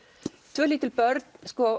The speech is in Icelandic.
tvö lítil börn